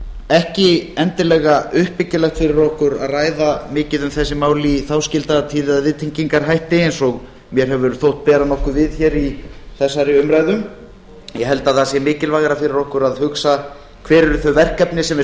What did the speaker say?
ekki endilega uppbyggilegt fyrir okkur að ræða mikið um þessi mál í þáskildagatíð eða viðtengingarhætti eins og mér hefur þótt bera nokkuð við hér í þessari umræðu ég held að það sé mikilvægara fyrir okkur að hugsa hver eru þau verkefni sem við